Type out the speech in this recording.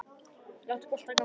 Láta boltann ganga.